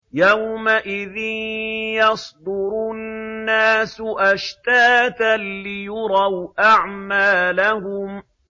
يَوْمَئِذٍ يَصْدُرُ النَّاسُ أَشْتَاتًا لِّيُرَوْا أَعْمَالَهُمْ